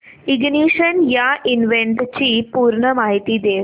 ignition या इव्हेंटची पूर्ण माहिती दे